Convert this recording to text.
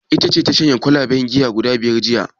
Ita ce ta shanye kwalaben giya guda biyar jiya?